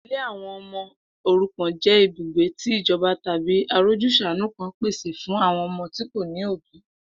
Ilé àwo̩n o̩mo̩ òrukàn jé̩ ibùgbé tí ìjo̩ba tàbí arójús̩àánú kan pèsè fún àwo̩n o̩mo̩ tí kò ní òbí